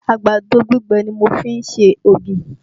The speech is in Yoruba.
Àgbàdo gbígbẹ ni mo fẹ́ fi ń se ògì